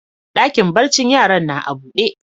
Dakin barcin yaran na a buɗe.